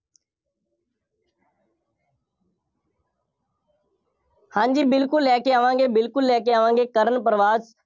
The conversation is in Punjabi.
ਹਾਂਜੀ ਬਿਲਕੁੱਲ ਲੈ ਕੇ ਆਵਾਂਗੇ, ਬਿਲਕੁੱਲ ਲੈ ਕੇ ਆਵਾਂਗੇ, ਕਰਨ ਤੋਂ ਬਾਅਦ,